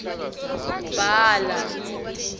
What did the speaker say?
bhala